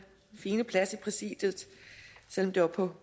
siger derfor